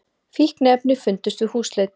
Fíkniefni fundust við húsleit